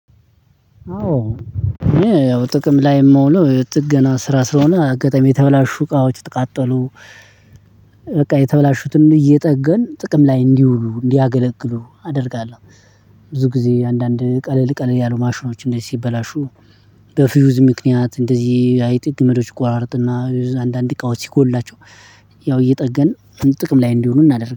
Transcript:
አዎ ያው ጥቅም ላይም ሆኖ ጥገና ስራ ስለሆነ አጋጣሚ የተበላሹ እቃዎች የተቃጠሉ በቃ የተበላሹትን እየጠገን ጥቅም ላይ እንዲውሉ እንዲያገለግሉ አደርጋለሁ። ብዙ ጊዜ አንዳንድ ቀለል ቀለል ያሉ ማሽኖች እንደዚህ ሲበላሹ። በፊውዝ ምክንያት እንደዚህ አይጥ ገመዶች ይቆራርጥና አንዳንድ እቃዋች ሲጎላቸው። ያው እየጠገንን ጥቅም ላይ እንዲውሉ እናደርጋለን